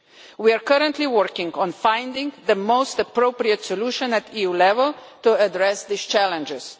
We are currently working on finding the most appropriate solution at EU level to address these challenges.